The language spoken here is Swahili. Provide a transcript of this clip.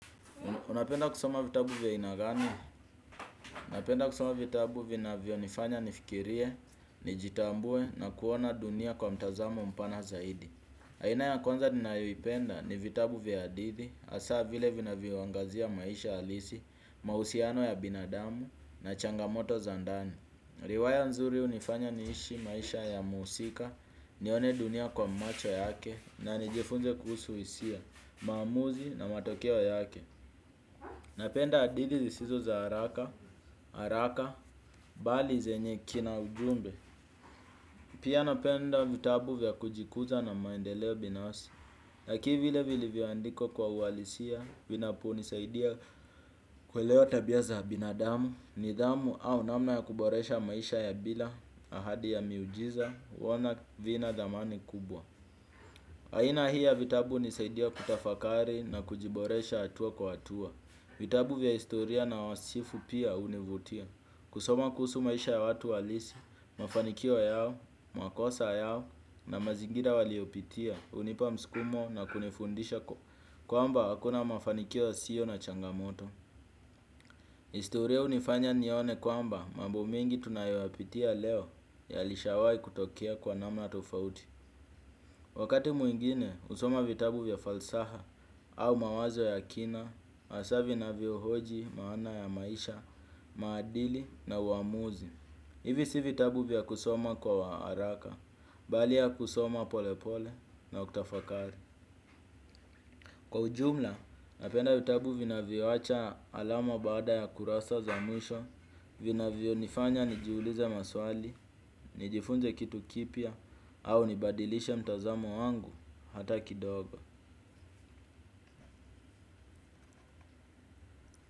Unapenda kusoma vitabu vya aina gani? Unapenda kusoma vitabu vinavyo nifanya nifikirie, nijitambue na kuona dunia kwa mtazamo mpana zaidi. Aina ya kwanza ninayoipenda ni vitabu vya hadithi hasa vile vinavyo angazia maisha alisi, mahusiano ya binadamu na changamoto za ndani. Riwaya nzuri hunifanya niishi maisha ya muusika, nione dunia kwa macho yake, na nijifunze kuhusu hisia, maamuzi na matokeo yake. Napenda hadithi zisizo za haraka, haraka, bali zenye kina ujumbe. Pia napenda vitabu vya kujikuza na maendeleo binafsi. Lakini vile vilivyoandikwa kwa uwalisia, vinapo nisaidia kuelewa tabia za binadamu. Nidhamu au namna ya kuboresha maisha ya bila, ahadi ya miujiza, huona vina dhamani kubwa. Aina hii ya vitabu hunisaidia kutafakari na kujiboresha hatua kwa hatua. Vitabu vya historia na wasifu pia hunivutia. Kusoma kuhusu maisha ya watu halisi, mafanikio yao, makosa yao na mazingira waliyopitia hunipa mskumo na kunifundisha kwamba hakuna mafanikio yasiyo na changamoto. Historia hunifanya nione kwamba mambo mengi tunayoyapitia leo yalishawahi kutokea kwa namna tofauti. Wakati mwingine, husoma vitabu vya falsaha au mawazo ya kina, hasaa vinavyohoji maana ya maisha, maadili na uamuzi. Hivi si vitabu vya kusoma kwa haraka, bali ya kusoma polepole na ukitafakari. Kwa ujumla, napenda vitabu vinavyoacha alama baada ya kurasa za mwisho, vinavyonifanya nijiulize maswali, nijifunze kitu kipya au nibadilishe mtazamo wangu hata kidogo.